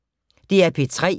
DR P3